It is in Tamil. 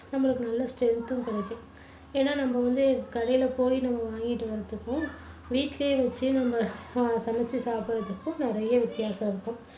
நம்மளுக்கு நல்ல strength உம் கிடைக்கும் ஏன்னா நம்ம வந்து கடையில போய் நம்ம வாங்கிட்டு வர்றதுக்கும், வீட்டிலேயே வச்சு நம்ம அஹ் சமைச்சு சாப்பிடுறதுக்கும் நிறைய வித்தியாசம் இருக்கும்